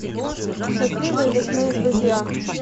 счастливые лесные друзья